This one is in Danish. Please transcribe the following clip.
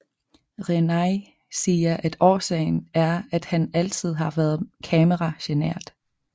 Renai siger at årsagen er at han altid har været kamera genert